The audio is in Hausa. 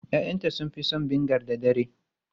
Ya'yanta sun fi son vinegar da dare.